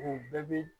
U bɛɛ bi